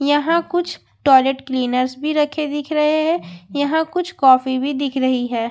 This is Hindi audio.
यहां कुछ टॉयलेट क्लीनर्स भी रखे दिख रहे है यहां कुछ कॉफी भी दिख रही है।